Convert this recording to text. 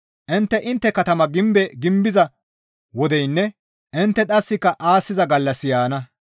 Intte intte katama gimbe gimbiza wodeynne intte dhasika aassiza gallassi yaana.